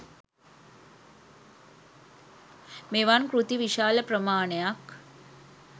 මෙවන් කෘති විශාල ප්‍රමාණයක්